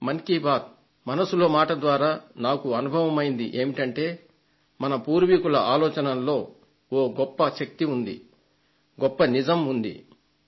మన్ కీ బాత్ మనసులో మాట ద్వారా నాకు అనుభవమైంది ఏమిటంటే మన పూర్వీకుల ఆలోచనలలో ఒక గొప్ప శక్తి ఉన్నదీ గొప్ప నిజం ఉన్నదీ అని